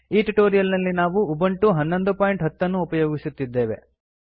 ಈ ಟ್ಯುಟೋರಿಯಲ್ ನಲ್ಲಿ ನಾವು ಉಬುಂಟು 1110 ಅನ್ನು ಉಪಯೋಗಿಸುತ್ತಿದ್ದೇವೆ